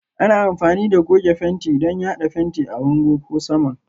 Ana amfani da goge fenti don yada fenti a bango ko saman